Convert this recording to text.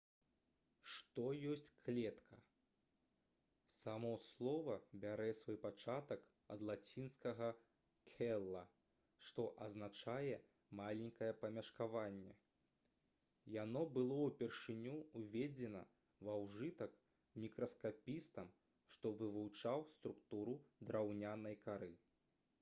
што ёсць клетка? само слова бярэ свой пачатак ад лацінскага «cella» што азначае «маленькае памяшканне». яно было ўпершыню ўведзена ва ўжытак мікраскапістам што вывучаў структуру драўнянай кары